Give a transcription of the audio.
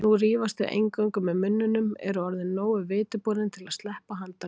Nú rífast þau eingöngu með munninum, eru orðin nógu vitiborin til að sleppa handalögmálum.